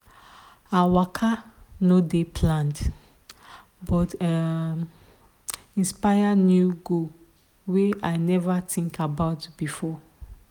her waka no dey planned but e um inspire new goal wey i never think about before.